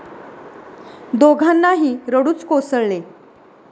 दोघांनाही रडूच कोसळले.